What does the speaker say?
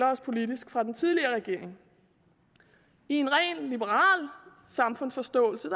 os politisk fra den tidligere regering i en rent liberal samfundsforståelse